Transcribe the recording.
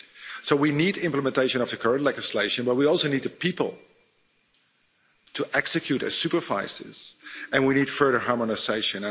So we need implementation of the current legislation, but we also need people to execute and supervise this. We need further harmonisation.